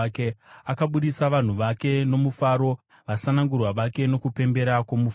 Akabudisa vanhu vake nomufaro, vasanangurwa vake nokupembera kwomufaro;